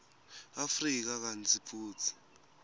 afrika kantsi futsi